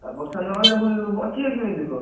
ବର୍ଷା ନହେଲେ ଫୁଣି ବଞ୍ଚିବେ କେମିତି ଲୋକ?